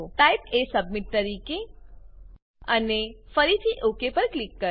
type એ submit તરીકે અને ફરીથી ઓક પર ક્લિક કરો